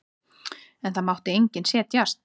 En það mátti enginn setjast.